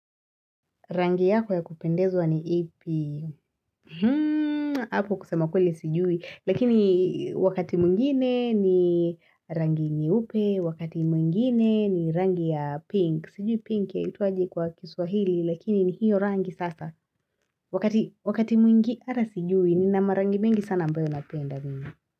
Rangi yako ya kupendezwa ni ipi, hako kusema kweli sijui, lakini wakati mungine ni rangi nyeupe, wakati mungine ni rangi ya pink, sijui pink ya ituaji kwa kiswahili lakini ni hiyo rangi sasa, wakati mungi ata sijui nina marangi mingi sana ambayo napenda mingi.